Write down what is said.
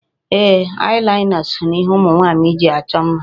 Eye liner so na ihe ụmụ nwaanyị ji achọ mma.